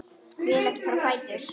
Vil ekki fara á fætur.